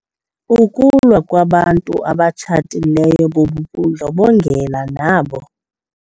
Ukulwa kwabantu abatshatileyo bubundlobongela nabo.